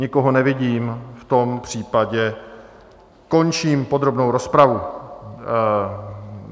Nikoho nevidím, v tom případě končím podrobnou rozpravu.